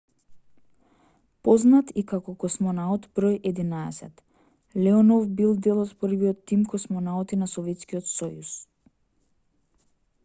познат и како космонаут бр 11 леонов бил дел од првиот тим космонаути на советскиот сојуз